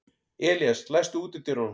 Elías, læstu útidyrunum.